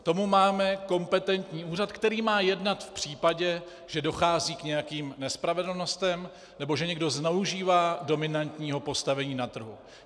K tomu máme kompetentní úřad, který má jednat v případě, že dochází k nějakým nespravedlnostem nebo že někdo zneužívá dominantního postavení na trhu.